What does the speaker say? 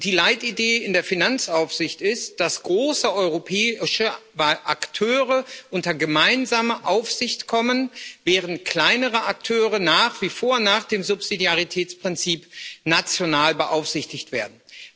Die Leitidee in der Finanzaufsicht ist, dass große europäische Akteure unter gemeinsame Aufsicht kommen, während kleinere Akteure nach wie vor nach dem Subsidiaritätsprinzip national beaufsichtigt werden.